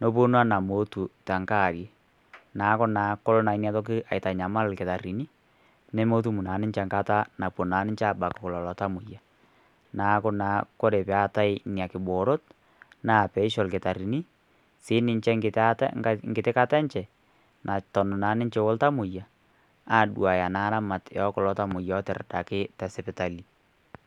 nepuonu omeetu tenkaaarie neeku naa kelo naa inatoki aitanyamal irkitarini nemetum naa ninche enkata napuo aabak lelo tamoyia neeku naa ore peetai nena kiboorot naa peisho irkitarini siininche enkiti kata enche naton naa ninche oltamoyia aaduaya naa ramatie ekulo tamoyia lootiridaki tesipitali.